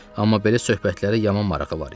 Amma belə söhbətlərə yaman marağı var idi.